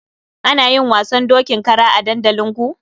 Ana yin wasan dokin kara a dandalinku?